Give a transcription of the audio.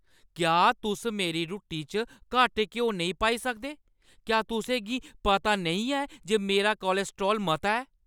क्या तुस मेरी रुट्टी च घट्ट घ्यो नेईं पाई सकदे? क्या तुसें गी पता नेईं ऐ जे मेरा कोलेस्ट्राल मता ऐ?